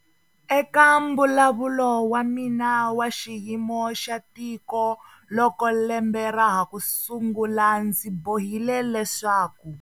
Eka Mbulavulo wa mina wa Xiyimo xa Tiko loko lembe ra ha ku sungula ndzi bohile leswaku.